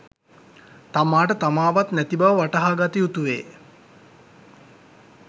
තමාට තමාවත් නැති බව වටහාගත යුතුවේ.